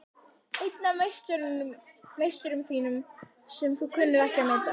Einn af meisturum þínum sem þú kunnir ekki að meta.